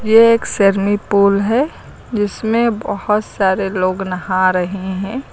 एक सेरमी पुल है जिसमें बहोत सारे लोग नहा रहे हैं।